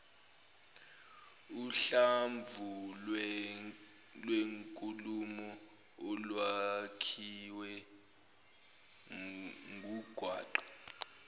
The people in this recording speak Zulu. uhlamvulwenkulumo olwakhiwe ngungwaqa